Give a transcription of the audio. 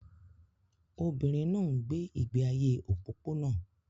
Obìnrin náà ń gbé ìgbé ayé òpópónà